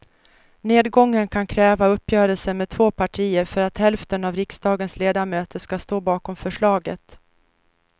Nedgången kan kräva uppgörelser med två partier för att hälften av riksdagens ledamöter ska stå bakom förslaget.